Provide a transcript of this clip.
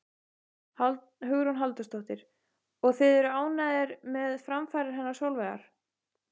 Hugrún Halldórsdóttir: Og þið eruð ánægðir með framfarir hennar Sólveigar?